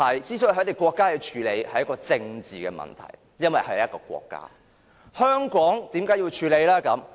這些國家要處理的便是政治問題，因為它們本身是國家，但香港為何要處理呢？